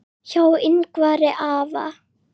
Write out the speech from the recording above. Hjá Yngvari afa